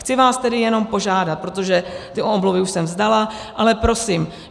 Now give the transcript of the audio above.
Chci vás tedy jenom požádat, protože ty omluvy už jsem vzdala, ale prosím.